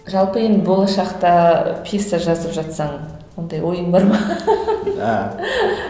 жалпы енді болашақта пьеса жазып жатсаң ондай ойың бар ма